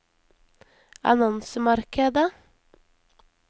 annonsemarkedet